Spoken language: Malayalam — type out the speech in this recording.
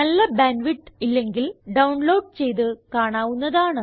നല്ല ബാൻഡ് വിഡ്ത്ത് ഇല്ലെങ്കിൽ ഡൌൺലോഡ് ചെയ്ത് കാണാവുന്നതാണ്